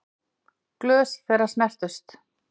Glös þeirra snertust.